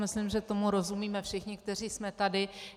Myslím, že tomu rozumíme všichni, kteří jsme tady.